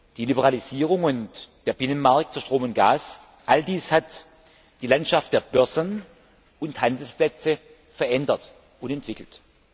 Die Liberalisierung und der Binnenmarkt für Strom und Gas, all dies hat die Landschaft der Börsen und Handelsplätze verändert und entwickelt.